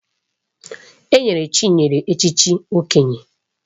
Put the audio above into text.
Enyere Chinyere echichi Okenye